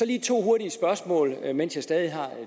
lige to hurtige spørgsmål mens jeg stadig har